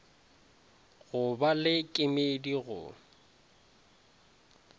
go ba le kemedi go